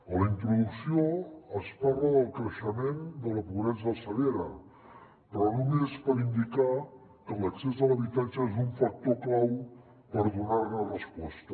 a la introducció es parla del creixement de la pobresa severa però només per indicar que l’accés a l’habitatge és un factor clau per donar hi resposta